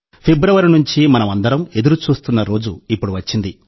ఫిబ్రవరి నుండి మనం అందరం ఎదురుచూస్తున్న రోజు ఇప్పుడు వచ్చింది